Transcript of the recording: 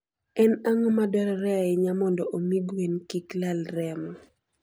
En ang'o madwarore ahinya mondo omi gweno kik lal remo?